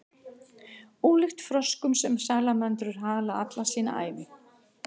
ólíkt froskum hafa salamöndrur hala alla sína ævi